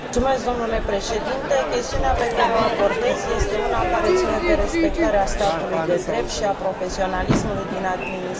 Chestiunea pe care o abordez este una care ține de respectarea statului de drept și a profesionalismului din administrația din România.